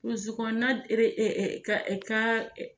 Buruzi kɔnɔ na ka